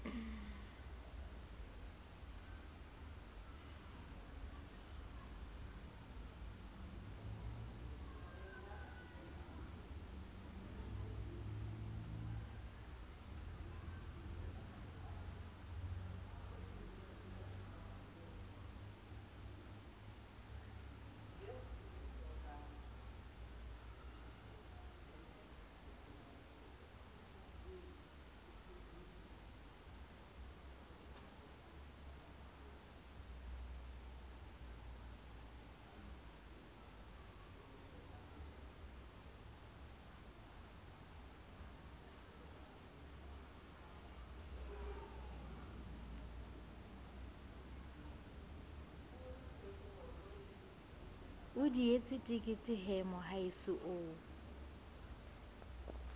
dihetse tekete he mohaeso o